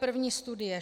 První studie.